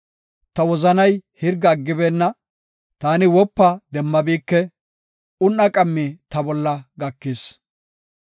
Ta wozanay hirga aggibeenna; taani wopa demmabike; un7a qammi ta bolla gakis.